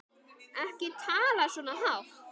Ekki tala svona hátt.